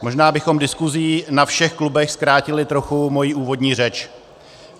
Možná bychom diskuzí na všech klubech zkrátili trochu moji úvodní řeč.